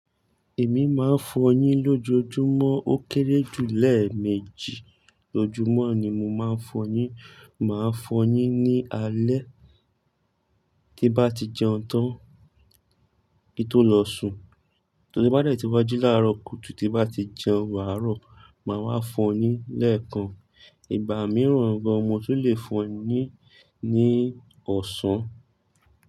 Èmi máa fọ yín lójoojúmọ́ ó kéré jù lẹ́ẹ̀mejì lójúmọ́ ni mo máa fọ yín. Màá fọ yín ní alé tí bá ti jẹun tán kí tó lọ sùn. Torí bá dẹ̀ tí wá jí láàárọ̀ kùtù tí bá ti jẹun árọ̀ máa wá fọ yín lẹ́ẹ̀kan. Ìgbà mìíràn gan mo tu lè fọ yín ní ọ̀sán.